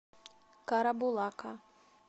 карабулака